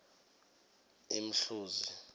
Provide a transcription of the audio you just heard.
imhluzi